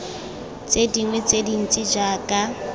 tse dingwe tse dintsi jaaka